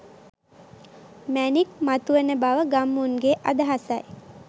මැණික් මතුවන බව ගම්මුන්ගේ අදහසයි